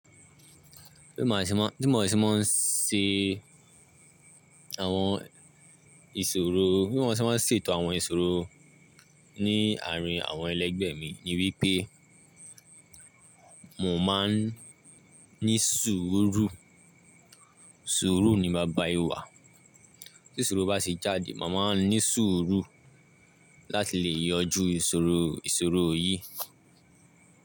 Bí mo ṣe máa, bí mo ṣe máa ń ṣe àwọn ìṣòro, bí mo ṣe máa ń ṣètò àwọn ìṣòro ní àárín àwọn ẹlẹgbẹ́ mi ni wípé mò mán ní ṣuru Suru ni baba ìwà. Tí ìṣòro bá ṣe jáde, màá máa ní ṣuruláti lè yanjú ìṣòro, ìṣòro yìí.